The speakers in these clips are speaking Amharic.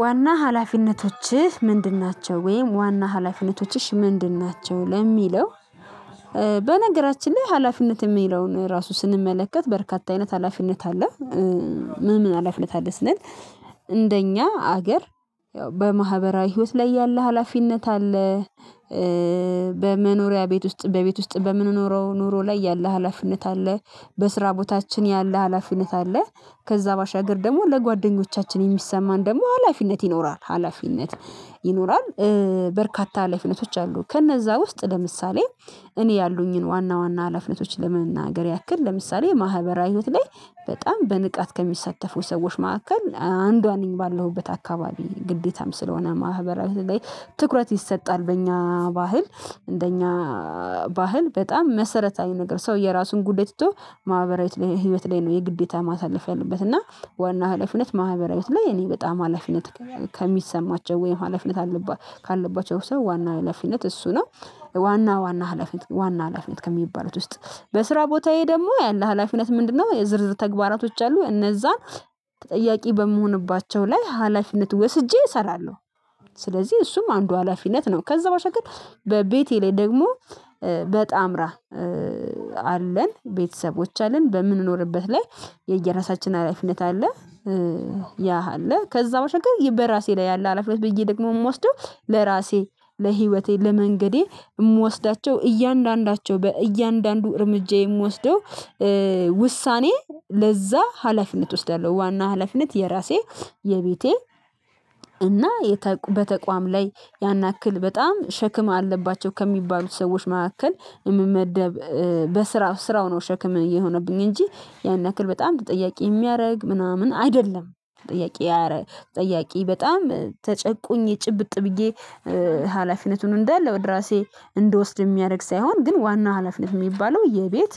ዋና ሀላፊነቶችህ ምንድን ናቸው ወይም ዋና ሀላፊነቶችሽ ምንድን ናቸው? ለሚለው በነገራችን ላይ ሀላፊነት የሚለውን ራሱ ስንመለከት በርካታ አይነት ሀላፊነት አለ ምን ምን ሀላፊነት አለ ስንል እንደኛ ሀገር በማህበራዊ ህይወት ላይ ያለ ሀላፊነት አለ በመኖሪያ ቤት ውስጥ በቤት ውስጥ በምንኖረው ኑሮ ላይ ያለ ሀላፊነት አለ በስራ ቦታችን ያለ ሀላፊነት አለ ከዛ ባሻገር ደግሞ ለጓደኞቻችን የሚሰማን ደግሞ ሀላፊነት ይኖራል ሀላፊነት ይኖራል በርካታ ሀላፊነቶች አሉ ከነዛ ውስጥ ለምሳሌ እኔ ያሉኝን ዋና ዋና ሀላፊነቶች ለመናገር ያክል ለምሳሌ የማህበራዊ ህይወት ላይ በጣም በንቃት ከሚሳተፉ ሰዎች መካከል አንዷ ነኝ ባለሁበት አካባቢ ግዴታም ስለሆነ ማህበራዊ ላይ ትኩረት ይሰጣል በእኛ ባህል እንደኛ ባህል በጣም መሰረታዊ ነገር ሰው የራሱን ጉዳይ ትቶ ማህበራዊ ህይወት ላይ ህይወት ላይ ነው የግዴታ ማሳለፍ ያለበት እና ዋና ሀላፊነት ማኅበራዊት ላይ የኔ በጣም ሀላፊነት ከሚሰማቸው ወይም ሀላፊነት አለባ ካለባቸው ሰው ዋና ሀላፊነት እሱ ነው ዋና ዋና ሀላፊነት ዋና ሀላፊነት ከሚባሉት ውስጥ በስራ ቦታዬ ደግሞ ያለ ሀላፊነት ምንድነው የዝርዝር ተግባራቶች አሉ እነዛን ተጠያቂ በምሆንባቸው ላይ ሀላፊነት ወስጄ እሰራለሁ ስለዚህ እሱም አንዱ ሀላፊነት ነው ከዛ ባሻገር ግን በቤቴ ላይ ደግሞ በጣምራ አለን ቤተሰቦች አለን በምንኖርበት ላይ የየራሳችን ሀላፊነት አለ ያሃለ ከዛ በራሴ ላይ ያለ ሀላፊነት ብዬ ደግሞ የምወስደው ለራሴ ለህይወቴ ለመንገዴ የምወስዳቸው እያንዳንዳቸው በእያንዳንዱ እርምጃ የምወስደው ውሳኔ ለዛ ሀላፊነት እወስዳለሁ ዋና ሀላፊነት የራሴ የቤቴ እና በተቋም ላይ ያን ያክል በጣም ሸክም አለባቸው ከሚባሉት ሰዎች መካከል የምመደብ በስራው ስራው ነው ሸክም እየሆነብኝ እንጂ ያን ያክል በጣም ተጠያቂ የሚያደርግ ምናምን አይደለም ተጠያቂ ጠያቂ በጣም ተጨቁኝ የጭብጥ ብዬ ሀላፊነቱን እንዳለ ወደ ራሴ እንድወስድ የሚያደርግ ሳይሆን ግን ዋና ሀላፊነት የሚባለው የቤት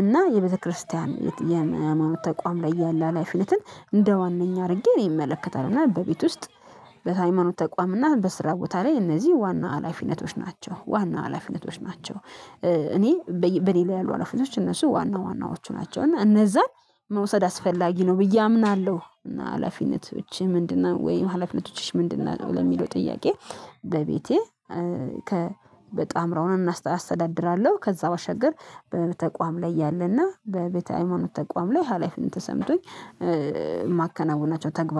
እና የቤተክርስቲያን የሃይማኖት ተቋም ላይ ያለ ሀላፊነትን እንደ ዋናኛ አድርጌ ነው የሚመለከተው እና በቤት ውስጥ በሃይማኖት ተቋም እና በስራ ቦታ ላይ እነዚህ ዋና ሀላፊነቶች ናቸው ዋና ሀላፊነቶች ናቸው እኔ በእኔ ላይ ያሉ ሀላፊነቶች እነሱ ዋና ዋናዎቹ ናቸው እና እነዛን መውሰድ አስፈላጊ ነው ብዬ አምናለሁ እና ሀላፊነቶች ምንድነው ወይ ሀላፊነቶች ምንድነው ለሚለው ጥያቄ በቤቴ ከ በጣምራ አስተዳድራለሁ ከዛ ባሻገር በተቋም ላይ ያለና በቤተ ሃይማኖት ተቋም ላይ ሀላፊነት ተሰምቶኝ የማከናውናቸው ተግባር